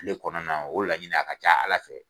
Kile kɔnɔna o la ɲini a ka ca ala fɛ.